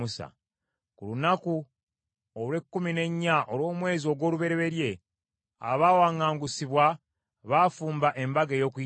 Ku lunaku olw’ekkumi n’ennya olw’omwezi ogw’olubereberye, abawaŋŋaangusibwa baafumba embaga ey’Okuyitako.